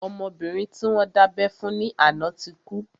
Ọmọbìnrin tí wọ́n dábẹ́ fún ní àná náà ti kú